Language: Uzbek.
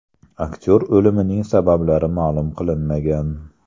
Aktyor o‘limining sabablari ma’lum qilinmagan.